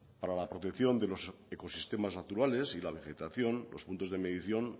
para la protección de los ecosistemas naturales y la vegetación los puntos de medición